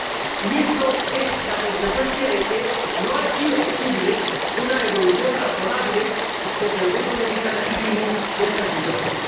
Y esto es la consecuencia de que no ha sido posible una evolución razonable desde el punto de vista legítimo de esta situación.